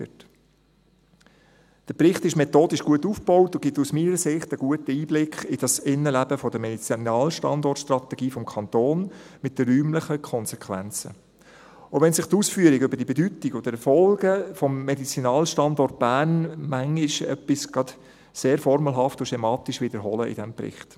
Der Bericht ist methodisch gut aufgebaut und gibt aus meiner Sicht einen guten Einblick in das Innenleben der Medizinalstandortstrategie des Kantons mit den räumlichen Konsequenzen, auch wenn sich die Ausführungen über die Bedeutung und die Erfolge des Medizinalstandorts Bern manchmal etwas sehr formelhaft und schematisch wiederholen in diesem Bericht.